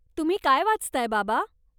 तुम्ही काय वाचताय, बाबा?